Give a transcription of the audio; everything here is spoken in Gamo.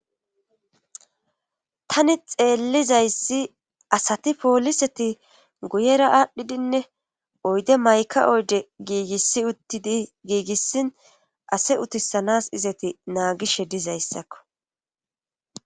tani xeellizayssi asati pooliseti guyera aadhdhidinne oyde mayka oyde giigisi uttidi giigissin ase utisanas izati naagishe dizayssakko